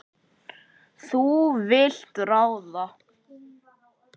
Þú vilt ráða.